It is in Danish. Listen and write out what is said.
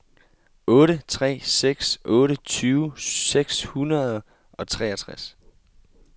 otte tre seks otte tyve seks hundrede og treogtres